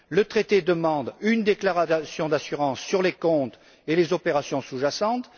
Le traité demande une déclaration d'assurance sur les comptes et les opérations sous jacentes.